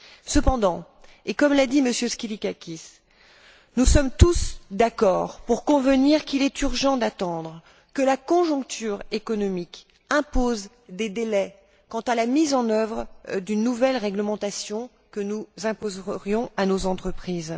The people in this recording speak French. Cependant et comme l'a dit M. Skylakakis nous sommes tous d'accord pour dire qu'il est urgent d'attendre, que la conjoncture économique impose des délais quant à la mise en œuvre d'une nouvelle réglementation que nous imposerions à nos entreprises.